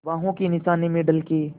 बाहों के निशानों में ढल के